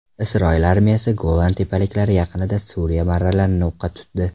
Isroil armiyasi Golan tepaliklari yaqinida Suriya marralarini o‘qqa tutdi.